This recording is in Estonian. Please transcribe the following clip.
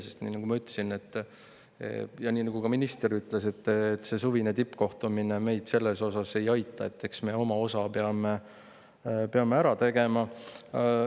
Sest nii, nagu ma ütlesin, ja nii, nagu ka minister ütles, ega see suvine tippkohtumine meid selles osas ei aita, eks me oma osa peame ära tegema.